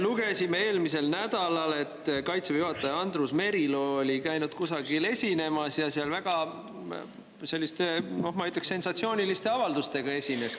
Lugesime eelmisel nädalal, et Kaitseväe juhataja Andrus Merilo oli käinud kusagil esinemas ja esinenud selliste, ma ütleksin, väga sensatsiooniliste avaldustega.